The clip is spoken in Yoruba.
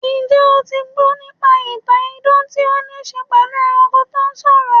Njẹ́ o ti gbọ́ nípa ìtàn idan tí ó ní í ṣe pẹ̀lú ẹranko tó ń sọ̀rọ̀?